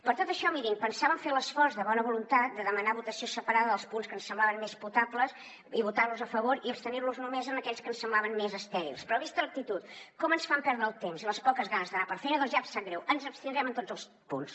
per tot això mirin pensàvem fer l’esforç de bona voluntat de demanar votació separada dels punts que ens semblaven més potables i votar los a favor i abstenir nos només en aquells que ens semblaven més estèrils però vista l’actitud com ens fan perdre el temps i les poques ganes d’anar per feina doncs ja em sap greu ens abstindrem en tots els punts